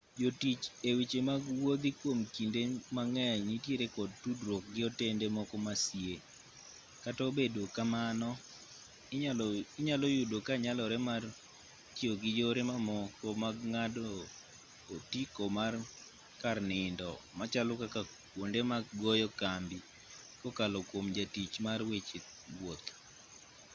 jotich e weche mag wuodhi kwom kinde mang'eny nitiere kod tudruok gi otende moko ma sie kata obedo kamano inyalo yudo ka nyalore mar tiyo gi yore mamoko mag ng'ado otiko mar kar nindo machalo kaka kwonde mag goyo kambi kokalo kwom jatich mar weche wuoth